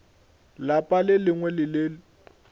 lapa le lengwe le le